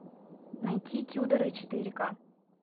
найти тюдоры четыре ка